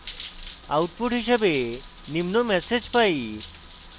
output হিসাবে নিম্ন message পাই